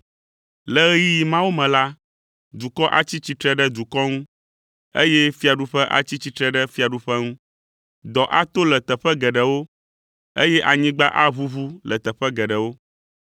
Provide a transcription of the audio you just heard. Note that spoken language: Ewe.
Le ɣeyiɣi mawo me la, dukɔ atsi tsitre ɖe dukɔ ŋu, eye fiaɖuƒe atsi tsitre ɖe fiaɖuƒe ŋu. Dɔ ato le teƒe geɖewo, eye anyigba aʋuʋu le teƒe geɖewo.